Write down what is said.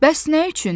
Bəs nə üçün?